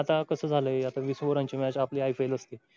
आता कस झालंय आता वीस over रांची match आपली IPL असते.